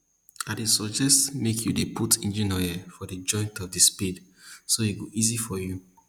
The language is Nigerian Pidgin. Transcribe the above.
i dey suggest make you dey put engine oil for the joint of the spade so e go easy for you